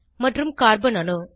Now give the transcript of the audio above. மற்றும் கார்பன் அணு